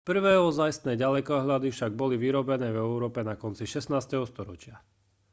prvé ozajstné ďalekohľady však boli vyrobené v európe na konci 16. storočia